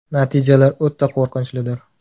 Natijalar o‘ta qo‘rqinchlidir.